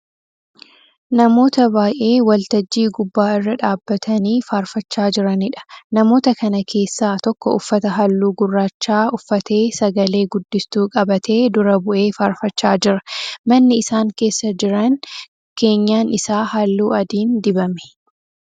Namoota baay'ee waltajjii gubbaa irra dhaabbatanii faarfachaa jiraniidha. Namoota kana keessaa tokko uffata halluu gurraachaa uffatee sagale guddistuu qabatee dura bu'ee faarfachaa jira. Manni isaan keessa jiran keenyan isaa halluu adiin dibame.